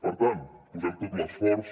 per tant posem tot l’esforç